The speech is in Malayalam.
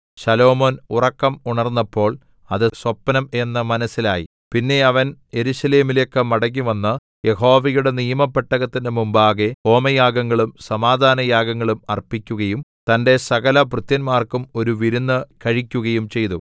ശലോമോൻ ഉറക്കം ഉണർന്നപ്പോൾ അത് സ്വപ്നം എന്ന് മനസ്സിലായി പിന്നെ അവൻ യെരൂശലേമിലേക്ക് മടങ്ങിവന്ന് യഹോവയുടെ നിയമപെട്ടകത്തിന്റെ മുമ്പാകെ ഹോമയാഗങ്ങളും സമാധാനയാഗങ്ങളും അർപ്പിക്കുകയും തന്റെ സകലഭൃത്യന്മാർക്കും ഒരു വിരുന്ന് കഴിക്കുകയും ചെയ്തു